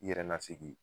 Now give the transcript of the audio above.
I yɛrɛ ka segi